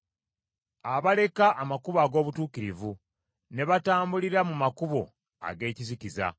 abaleka amakubo ag’obutuukirivu ne batambulira mu makubo ag’ekizikiza,